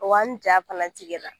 Wa n ja fana tigɛ la.